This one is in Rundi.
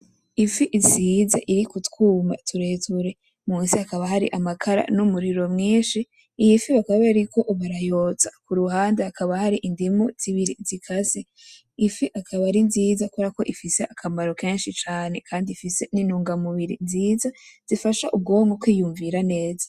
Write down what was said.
Ifi isize, iri k‘ utwuma tureture munsi hakaba hari amakara n‘ umuriro mwinshi. Iyi fi bakaba bariko barayotsa kuruhande hakaba hari indimu zibiri zikase. Ifi ikaba ari nziza kuberako ifise akamaro kenshi cane kandi ifise n‘ intungamubiri nziza zifasha ubwonko kwiyumvira neza .